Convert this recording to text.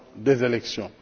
des élections.